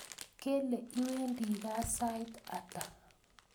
Kele iwendi gaa sait ata